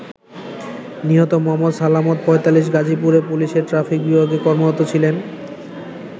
নিহত মো. সালামত ৪৫ গাজীপুরে পুলিশের ট্রাফিক বিভাগে কর্মরত ছিলেন।